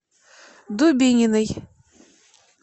дубининой